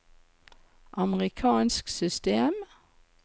amerikansk system